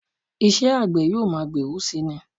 Iṣẹ́ àgbẹ̀ yóò máa gbèrú si ni